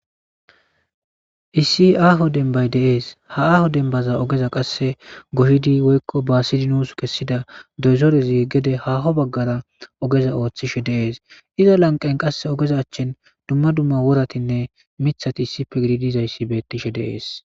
Issi aho denibay de'es issi aho denibay qasika deniban issi nus goyidi woy basidi kesida dozorezi eqidi haho bagara ogeza othishe dees iza laniqen ogeza achan duma duma woratinee mithati issipe gididi dizayis betes